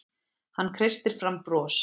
Hann kreistir fram bros.